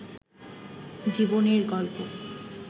জীবনের গল্প